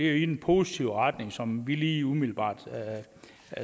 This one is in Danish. er i den positive retning som vi lige umiddelbart